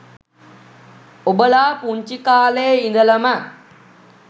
ඔබලා පුංචි කාලෙ ඉඳලම